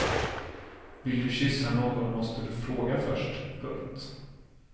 Vill du kyssa någon måste du fråga först. punkt